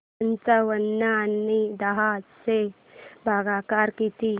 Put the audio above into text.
पंचावन्न आणि दहा चा भागाकार किती